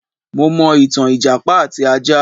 Mo mọ̀ ìtàn ìjàpá àti ajá.